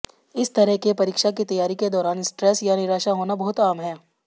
इस तरह के परीक्षा की तैयारी के दौरान स्ट्रेस या निराशा होना बहुत आम है